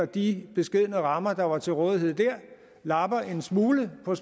de beskedne rammer der var til rådighed dér lapper en smule på